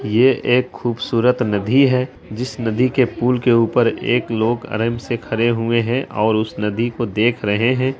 ये एक खूबसूरत नदी है जिस नदी के पूल के ऊपर एक लोग आराम से खड़े हुए है और उस नदी को देख रहे है।